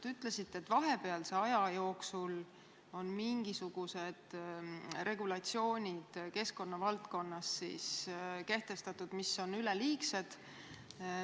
Te ütlesite, et vahepealse aja jooksul on keskkonna valdkonnas kehtestatud mingisugused regulatsioonid, mis on üleliigsed.